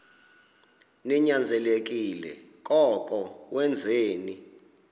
ninyanzelekile koko wenzeni